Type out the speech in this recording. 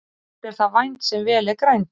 Allt er það vænt sem vel er grænt.